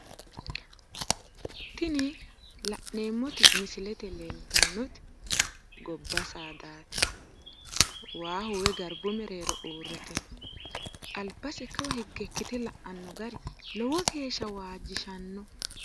Tini la'neemmoti misilete lee'tannoti gobba saadaati waaho woy garbu mereero uritino aknasa kawa higge ikkete la'anno gari lowo heeshsha waajjishanno